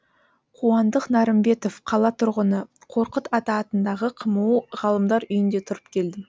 қуандық нарымбетов қала тұрғыны қорқыт ата атындағы қму ғалымдар үйінде тұрып келдім